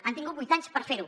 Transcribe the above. han tingut vuit anys per fer ho